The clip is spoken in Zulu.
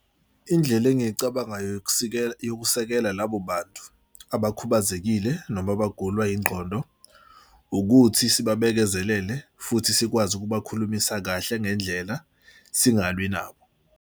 Indlela engicabangayo yokusikela yokusekela labo bantu abakhubazekile noma abagulwa ingqondo ukuthi sibabekezelele futhi sikwazi ukubakhulumisa kahle ngendlela singalwi nabo.